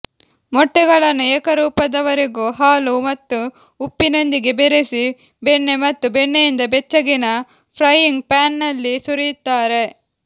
ಮೊಟ್ಟೆಗಳನ್ನು ಏಕರೂಪದವರೆಗೂ ಹಾಲು ಮತ್ತು ಉಪ್ಪಿನೊಂದಿಗೆ ಬೆರೆಸಿ ಬೆಣ್ಣೆ ಮತ್ತು ಬೆಣ್ಣೆಯಿಂದ ಬೆಚ್ಚಗಿನ ಫ್ರೈಯಿಂಗ್ ಪ್ಯಾನ್ನಲ್ಲಿ ಸುರಿಯುತ್ತಾರೆ